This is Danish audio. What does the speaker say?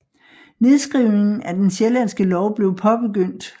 Nedskrivningen af Den sjællandske lov blev påbegyndt